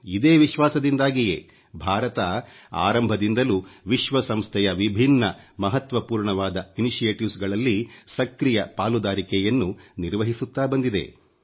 ಇದೇ ವಿಶ್ವಾಸದಿಂದಾಗಿಯೇ ಭಾರತ ಆರಂಭದಿಂದಲೂ ವಿಶ್ವಸಂಸ್ಥೆಯ ವಿಭಿನ್ನ ಮಹತ್ವಪೂರ್ಣವಾದ ಉಪಕ್ರಮಗಳಲ್ಲಿ ಸಕ್ರಿಯ ಪಾಲುದಾರಿಕೆಯನ್ನು ನಿರ್ವಹಿಸುತ್ತಾ ಬಂದಿದೆ